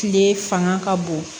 Kile fanga ka bon